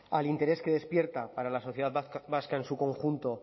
al interés que despierta para la sociedad vasca en su conjunto